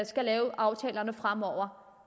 skal lave aftalerne fremover